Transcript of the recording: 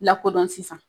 Lakodɔn sisan